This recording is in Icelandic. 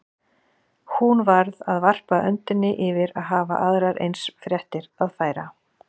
Hún varð að varpa öndinni yfir að hafa aðrar eins fréttir að færa.